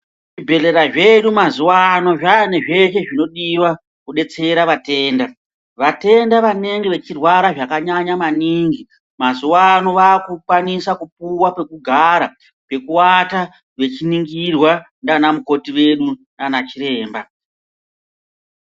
Zvibhedhlera zvedu mazuwano zvaane zvese zvinodiwa kudetsera vatenda. Vatenda vanenge vachirwara zvakanyanya maningi mazuwa ano vakukwanisa kupuwa pekugara, pekuwata vechiningirwa nanamukoti wedu nanachiremba.